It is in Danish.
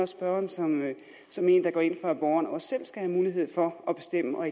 spørgeren som en der går ind for at borgeren også selv skal have mulighed for at bestemme og